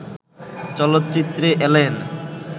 চলচ্চিত্রে এলেন